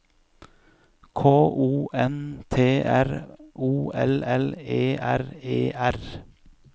K O N T R O L L E R E R